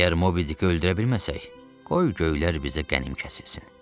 Əgər Mobidiki öldürə bilməsək, qoy göylər bizə qənim kəsilsin.